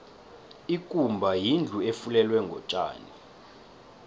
ikumba yindlu efulelwe ngotjani